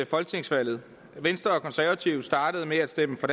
folketingsvalget venstre og konservative startede med at stemme for